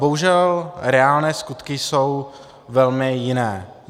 Bohužel reálné skutky jsou velmi jiné.